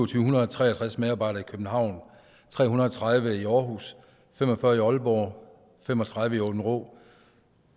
syv hundrede og tre og tres medarbejdere i københavn tre hundrede og tredive i aarhus fem og fyrre i aalborg fem og tredive i aabenraa